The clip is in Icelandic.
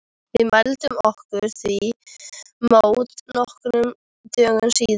Við mæltum okkur því mót nokkrum dögum síðar.